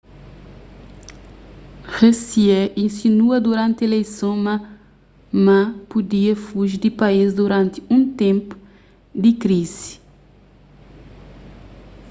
hsieh insinua duranti ileison ma ma pudia fuji di país duranti un ténpu di krizi